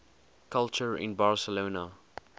culture in barcelona